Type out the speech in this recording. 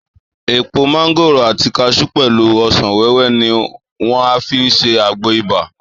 Èpò mángòrò àti kaṣú pẹ̀lú ọ̀sán wẹ́wẹ́ ni wà á fi ṣe àgbo ibà